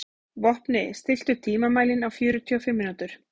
Vopni, stilltu tímamælinn á fjörutíu og fimm mínútur.